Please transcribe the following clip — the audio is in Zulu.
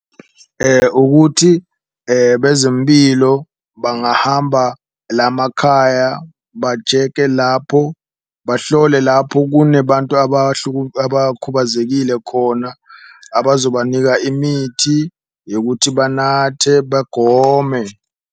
Ukuthi bezempilo bangahamba lamakhaya ba-check-e lapho, bahlole lapho kunebantu abakhubazekile khona, abazobanika imithi yokuthi banathe bagome.